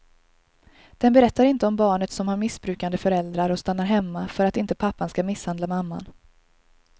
Den berättar inte om barnet som har missbrukande föräldrar och stannar hemma för att inte pappan ska misshandla mamman.